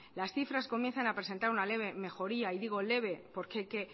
las cifras comienzan a presentar una leve mejoría y digo leve porque hay que